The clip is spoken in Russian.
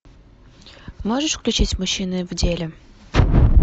можешь включить мужчины в деле